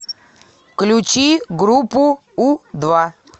включи группу у два